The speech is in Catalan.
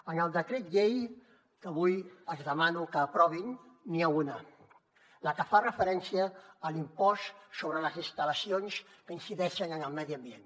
en el decret llei que avui els demano que aprovin n’hi ha una la que fa referència a l’impost sobre les instal·lacions que incideixen en el medi ambient